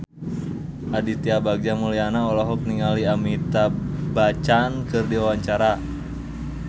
Aditya Bagja Mulyana olohok ningali Amitabh Bachchan keur diwawancara